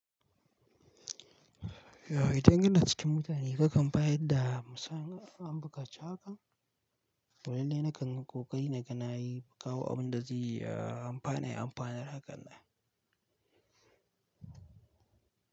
Yauwa idan ina cikin mutane hakan bayan da musan an bukaci hakan? Walille nakan yi kokari na ga nayi na kawo abun da ziyi amfani amfanar hakan ne.